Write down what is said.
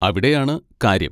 അവിടെയാണ് കാര്യം.